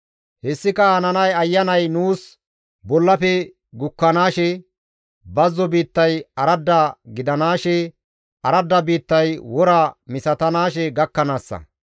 Hessika hananay Ayanay nuus bollafe gukkanaashe, bazzo biittay aradda gidanaashe, aradda biittay wora misatanaashe gakkanaassa.